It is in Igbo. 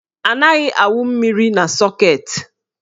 Anaghị awụ mmiri na sọket.